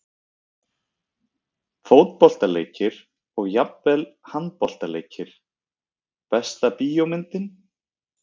Fótboltaleikir og jafnvel handboltaleikir Besta bíómyndin?